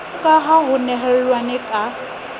ka ha ho nehelanwe ka